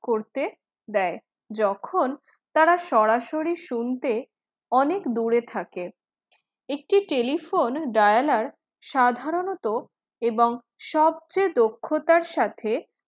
করতে দেয় যখন তারা সরাসরি শুনতে অনেক দূরে থাকে একটি telephone dialer সাধারণত এবং সবচেয়ে দক্ষতার সাথে